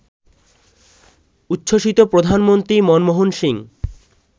উচ্ছ্বসিত প্রধানমন্ত্রী মনমোহন সিং